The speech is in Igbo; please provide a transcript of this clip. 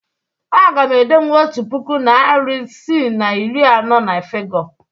Aga m edenwu otu puku, narị isii na iri anọ na fịgọ.